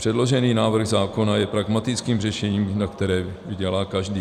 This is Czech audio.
Předložený návrh zákona je pragmatickým řešením, na kterém vydělá každý.